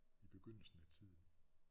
I begyndelsen af tiden